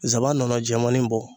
Zaban nɔnɔ jɛmanin bɔ